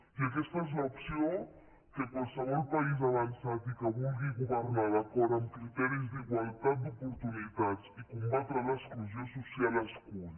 i aquesta és l’opció que qualsevol país avançat i que vulgui governar d’acord amb criteris d’igualtat d’oportunitats i combatre l’exclusió social escull